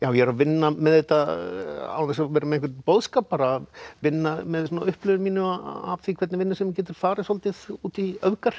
ég er að vinna með þetta án þess að vera með einhvern boðskap bara vinna með mína upplifun af því hvernig vinnusemin getur farið svolítið út í öfgar